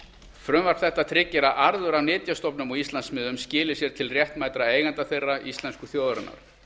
frumvarp þetta tryggir að arður af nytjastofnum á íslandsmiðum skili sér til réttmætra eigenda þeirra íslensku þjóðarinnar